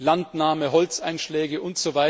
Landnahme, Holzeinschläge usw.